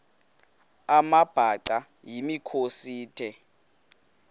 amabhaca yimikhosi the